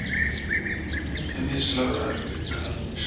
Glætu mislagðar granir